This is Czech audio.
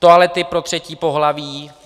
Toalety pro třetí pohlaví.